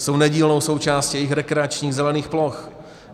Jsou nedílnou součástí jejich rekreačních zelených ploch.